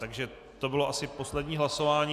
Takže to bylo asi poslední hlasování.